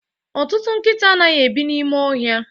Ọtụtụ nkịta anaghị ebi n'ime ọhịa